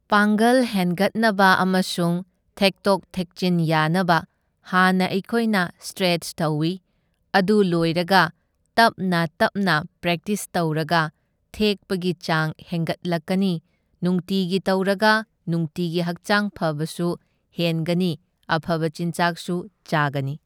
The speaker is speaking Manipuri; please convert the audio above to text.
ꯄꯥꯡꯒꯜ ꯍꯦꯟꯒꯠꯅꯕ ꯑꯃꯁꯨꯡ ꯊꯦꯛꯇꯣꯛ ꯊꯦꯛꯆꯤꯟ ꯌꯥꯅꯕ ꯍꯥꯟꯅ ꯑꯩꯈꯣꯏꯅ ꯁꯇ꯭ꯔꯦꯠꯁ ꯇꯧꯢ, ꯑꯗꯨ ꯂꯣꯏꯔꯒ ꯇꯞꯅ ꯇꯞꯅ ꯄ꯭ꯔꯦꯛꯇꯤꯁ ꯇꯧꯔꯒ ꯊꯦꯛꯄꯒꯤ ꯆꯥꯡ ꯍꯦꯡꯒꯠꯂꯛꯀꯅꯤ, ꯅꯨꯡꯇꯤꯒꯤ ꯇꯧꯔꯒ ꯅꯨꯡꯇꯤꯒꯤ ꯍꯛꯆꯥꯡ ꯐꯕꯁꯨ ꯍꯦꯟꯒꯅꯤ ꯑꯐꯕ ꯆꯤꯟꯖꯥꯛꯁꯨ ꯆꯥꯒꯅꯤ꯫